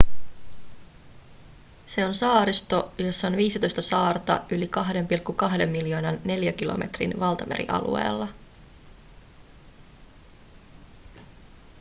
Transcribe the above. se on saaristo jossa on 15 saarta yli 2,2 miljoonan neliökilometrin valtamerialueella